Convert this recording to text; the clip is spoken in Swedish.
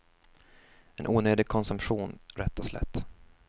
En onödig konsumtion rätt och slätt.